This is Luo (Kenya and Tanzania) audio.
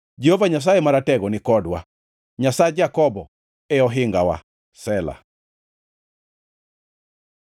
Jehova Nyasaye Maratego ni kodwa; Nyasach Jakobo e ohingawa. Sela